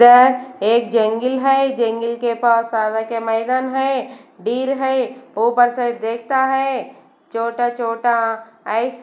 इधर एक जंगल है जंगल के पास सारा के मैदान है डील है ऊपर से देखता है छोटा-छोटा आइस --